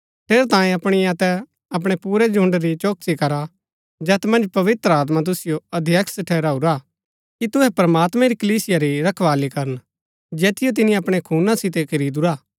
ठेरैतांये अपणी अतै अपणै पुरै झुण्ड़ री चौकसी करा जैत मन्ज पवित्र आत्मा तुसिओ अध्यक्ष ठहराऊरा हा कि तुहै प्रमात्मैं री कलीसिया री रखवाळी करन जैतिओ तिनी अपणै खूना सितै खरीदुरा हा